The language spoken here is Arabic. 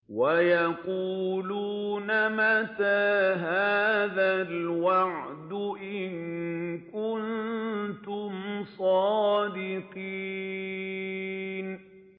وَيَقُولُونَ مَتَىٰ هَٰذَا الْوَعْدُ إِن كُنتُمْ صَادِقِينَ